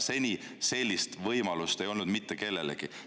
Seni sellist ei ole võimalust olnud mitte kellelgi.